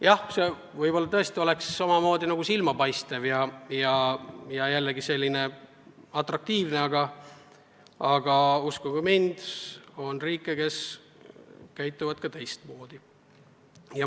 Jah, võib-olla see muudatus tõesti oleks omamoodi silmapaistev ja atraktiivne, aga uskuge mind, on riike, kes käituvad teistmoodi.